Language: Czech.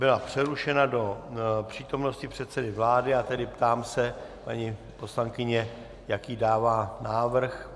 Byla přerušena do přítomnosti předsedy vlády, a tedy ptám se paní poslankyně, jaký dává návrh.